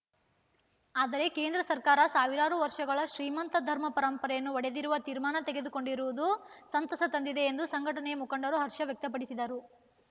ಆದರೆ ಕೇಂದ್ರ ಸರ್ಕಾರ ಸಾವಿರಾರು ವರ್ಷಗಳ ಶ್ರೀಮಂತ ಧರ್ಮ ಪರಂಪರೆಯನ್ನು ಒಡೆಯದಿರುವ ತೀರ್ಮಾನ ತೆಗೆದುಕೊಂಡಿರುವುದು ಸಂತಸ ತಂದಿದೆ ಎಂದು ಸಂಘಟನೆಯ ಮುಖಂಡರು ಹರ್ಷ ವ್ಯಕ್ತಪಡಿಸಿದರು